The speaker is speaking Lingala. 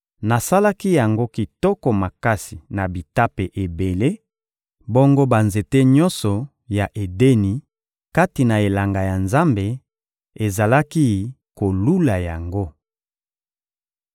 Nasalaki yango kitoko makasi na bitape ebele; bongo banzete nyonso ya Edeni, kati na elanga ya Nzambe, ezalaki kolula yango.